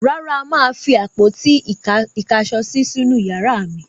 Rárá, mà á fi àpótí-ìkáṣọsí sínú ìyàrá mi.